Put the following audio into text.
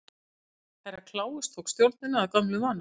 Herra Kláus tók stjórnina að gömlum vana.